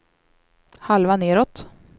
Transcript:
halva nedåt